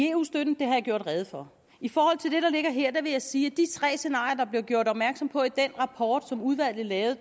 eu støtten har jeg gjort rede for i forhold til det der ligger her vil jeg sige de tre scenarier der blev gjort opmærksom på i den rapport som udvalgte lavede